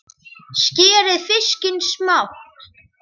Skerið fiskinn smátt.